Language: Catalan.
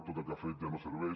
tot el que ha fet ja no serveix